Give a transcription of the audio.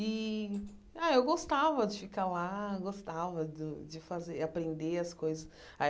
E ah eu gostava de ficar lá, gostava de de fazer aprender as coisas.